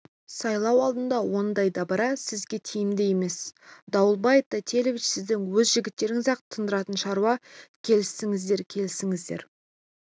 сайлау алдында ондай дабыра сізге тиімді емес дауэльбай тайтелиевич сіздің өз жігіттеріңіз-ақ тындыратын шаруа келісіңіздер келісіңіздер